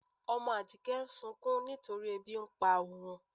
Ọmọ Ájíkẹ̀ ǹ sùnkún nítorí èbí n pá óun.